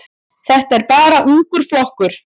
Þetta er bara ungur flokkur.